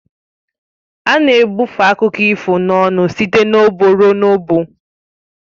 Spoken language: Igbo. A na-ebufe akụkọ ifo n'ọnụ site n'ọgbọ ruo n'ọgbọ